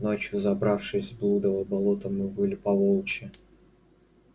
ночью забравшись в блудово болото мы выли по-волчьи